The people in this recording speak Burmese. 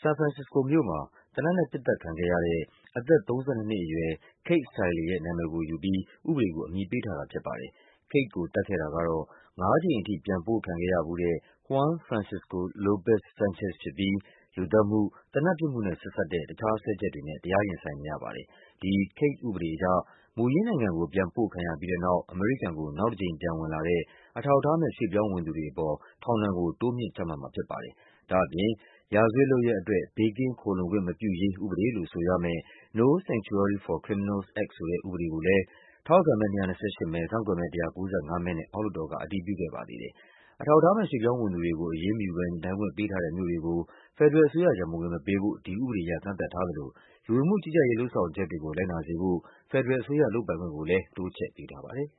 ဆန်ဖရန်ဆစ္စကိုမြို့မှာ သေနတ်နဲ့ ပစ်သတ်ခံခဲ့ရတဲ့ အသက် ၃၂ နှစ်အရွယ် Kate Steinle ရဲ့ နာမည်ကိုယူပြီး ဥပဒေကို အမည်ပေးထားတာဖြစ်ပါတယ်။ Kate ကိုသတ်ခဲ့ တာကတော့ ငါးကြိမ်ထိ ပြန်ပို့ခံခဲ့ရဖူးတဲ့ Juan Francisco Lopez-Sanchez ဖြစ်ပြီး လူသတ်မှု၊ သေနတ်ပစ်မှုနဲ့ဆက်စပ်တဲ့ တခြားစွဲချက်တွေနဲ့ တရားရင်ဆိုင်နေရပါတယ်။ ဒီ Kate ဥပဒေအရ မူရင်းနိုင်ငံကို ပြန်ပို့ခံရပြီးတဲ့နောက် အမေရိကန်ကို နောက်တကြိမ်ပြန် ဝင်လာတဲ့ အထောက်အထားမဲ့ ရွှေ့ပြောင်းဝင်သူတွေအပေါ် ထောင်ဒဏ်ကို တိုးမြှင့်ချမှတ်မှာဖြစ်ပါတယ်။ ဒါ့အပြင် ရာဇဝတ်လုပ်ရပ်အတွက် ဘေးကင်းခိုလှုံခွင့်မပြုရေးဥပဒေလို့ဆိုရမယ့် No Sanctuary for Criminals Act ဆိုတဲ့ ဥပဒေ ကိုလဲ ထောက်ခံမဲ ၂၂၈ မဲ၊ ကန့်ကွက်မဲ ၁၉၅ မဲနဲ့ အောက်လွှတ်တော်က အတည်ပြုခဲ့ပါသေးတယ်။ အထောက်အထားမဲ့ ရွှေ့ ပြောင်းဝင်သူတွေကို အရေးမယူဘဲ နေထိုင်ခွင့်ပေးထားတဲ့မြို့တွေကို ဖက်ဒရယ်အစိုးရ ရန်ပုံငွေမပေးဖို့ ဒီဥပဒေအရ ကန့်သတ် ထားသလို လူဝင်မှုကြီးကြပ်ရေး လုပ်ဆောင်ချက်တွေကို လိုက်နာစေဖို့ ဖက်ဒရယ်အစိုးရ လုပ်ပိုင်ခွင့်ကိုလဲ တိုးချဲ့ပေးထားပါတယ်။